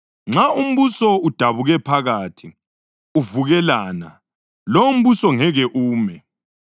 Nxa umbuso udabuke phakathi, uvukelana, lowombuso ngeke ume.